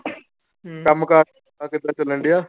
ਕੰਮ ਕਾਰ ਕਿੱਦਾਂ ਚੱਲਣ ਡਿਆ।